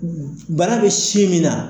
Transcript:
Bana bɛ sin min na.